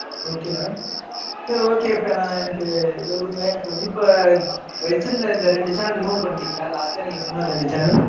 Okay வா? சரி okay இப்ப நான் எனக்கு இதை விடுங்க. எனக்கு வந்து இப்ப வச்சிருந்த இந்த ரெண்டு channel, remove பண்ணிட்டீங்களா? last ல நீங்க சொன்ன ரெண்டு channel